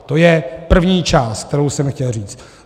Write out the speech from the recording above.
To je první část, kterou jsem chtěl říct.